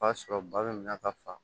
B'a sɔrɔ ba bɛ na ka fa